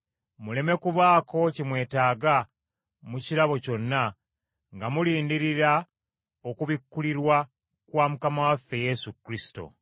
muleme kubaako kye mwetaaga mu kirabo kyonna, nga mulindirira okubikkulirwa kwa Mukama waffe Yesu Kristo.